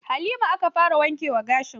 Halima aka fara wanke wa gashin.